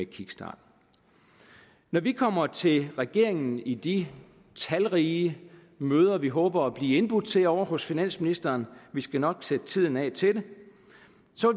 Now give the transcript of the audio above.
kickstart når vi kommer til regeringen i de talrige møder vi håber at blive indbudt til ovre hos finansministeren vi skal nok sætte tiden af til det